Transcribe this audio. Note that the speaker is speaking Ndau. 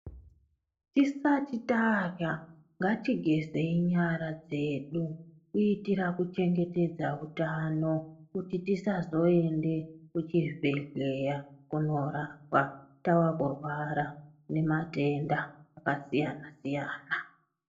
Tisati tarya ngatigezei nyara dzedu kuitira kuchengetedza utano kuti tisazoenda kuchibhedhleya kunorapwa tava kurwara nematenda akasiyana siyana.